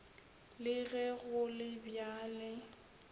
le ge go le bjale